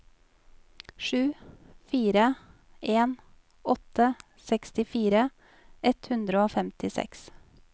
sju fire en åtte sekstifire ett hundre og femtiseks